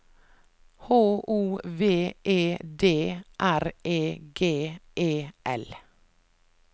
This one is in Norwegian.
H O V E D R E G E L